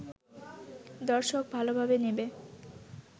দর্শক ভালোভাবে নেবে